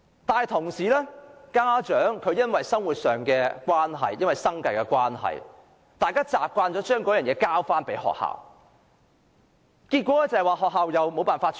另一方面，家長因為生活迫人，已經習慣把問題交給學校處理，但學校又缺乏資源。